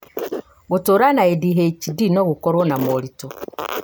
gũtũra na ADHD no gũkorwo na moritũ